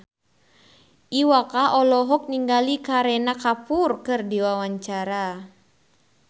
Iwa K olohok ningali Kareena Kapoor keur diwawancara